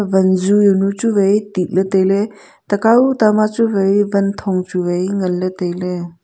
wanju yawnu chu wai titley tailey takau tama chu wai wanthong chu wai nganley tailey.